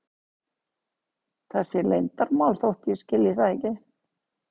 Það sé leyndarmál þótt ég skilji það ekki.